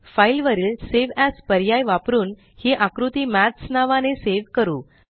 file वरील save as पर्याय वापरून हि आकृती mathsनावाने सेव करू